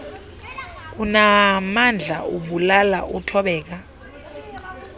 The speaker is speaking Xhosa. unaamandla ubulala uthobeka